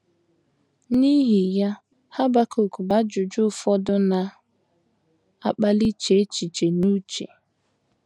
N’ihi ya Habakuk bu ajụjụ ụfọdụ na - akpali iche echiche n’uche.